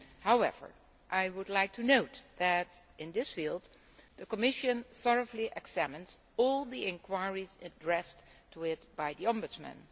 However, I would like to note that in this field the Commission thoroughly examines all the inquiries addressed to it by the Ombudsman.